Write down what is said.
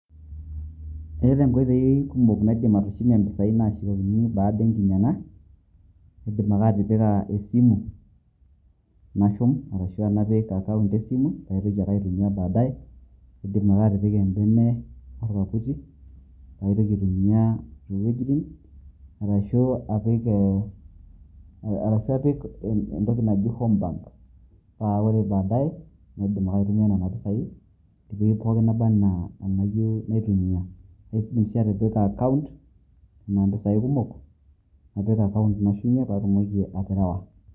Etaa inkoitoi kumok naidim atushumie mpisai nashukokini baada enkinyang'a. Aidim ake atipika esimu, nashum ashu napik account esimu paitoki ake aitumia badae. Aidim ake atipika ebene orkaputi, paitoki aitumia tokulie iwuejiting'. Arashu apiki e arashu apik entoki naji home bank. Pa ore badae, aidim ake aitumia nena pisai tewueji pooki naba enaa enayieu naitumia. Aidim si atipika account enaa mpisai kumok, napik account nashumie pe atumoki aterewa.